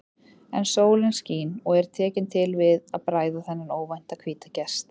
En sólin skín og er tekin til við að bræða þennan óvænta hvíta gest.